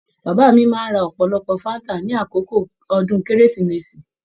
Bàbá mí máa n rá ọpọlọpọ fanta ní àkókò ọdún kérésìmesì.